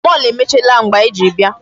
Mall emechiela mgbe anyị ji bịa.